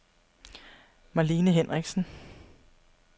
Marlene Henriksen